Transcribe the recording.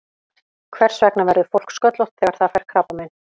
Hvers vegna verður fólk sköllótt þegar það fær krabbamein?